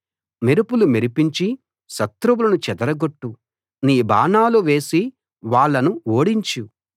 మెరుపులు మెరిపించి శత్రువులను చెదరగొట్టు నీ బాణాలు వేసి వాళ్ళను ఓడించు